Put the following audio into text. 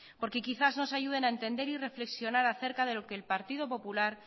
porque quizás nos ayuden a entender y reflexionar a cerca de lo que el partido popular